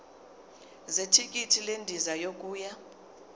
zethikithi lendiza yokuya